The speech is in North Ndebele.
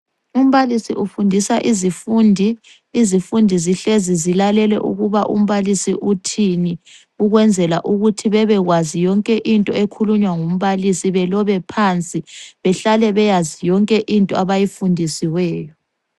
Umbalisi ufundisa izifundi, izifundi zihlezi zilalele ukuba umbalisi uthini, ukwenzela ukuthi bebekwazi yonke into ekhulunywa ngumbalisi. Belobe phansi behlale beyazi yonke into abayifundisiweyo.